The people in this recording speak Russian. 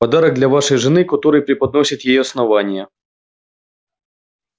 подарок для вашей жены который преподносит ей основание